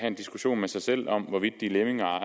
en diskussion med sig selv om hvorvidt de er lemminger